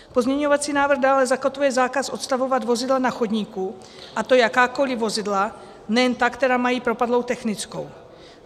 Pozměňovací návrh dále zakotvuje zákaz odstavovat vozidla na chodníku, a to jakákoliv vozidla, nejen ta, která mají propadlou technickou.